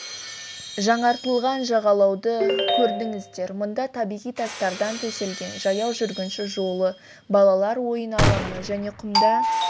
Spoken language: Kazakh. жаңартылған жағалауды көрдіңіздер мұнда табиғи тастардан төселген жаяу жүргінші жолы балалар ойын алаңы және құмда